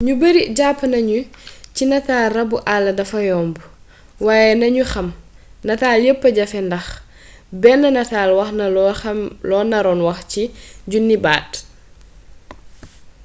ñu bari jàpp nañu ci natal rabu àll dafa yomb waaye nañu xam nataal yépp a jafee ndax benn nataal waxna loo naroon wax ci junniy baat